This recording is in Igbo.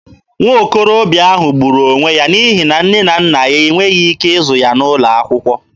Nwokorobịa ahụ gburu onwe ya n'ihi nne na nna ya e nweghị ike ịzụ ya n'ụlọ akwụkwọ.